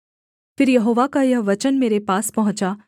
फिर यहोवा का यह वचन मेरे पास पहुँचा